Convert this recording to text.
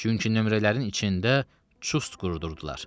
Çünki nömrələrin içində çust qurudurdular.